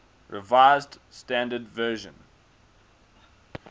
revised standard version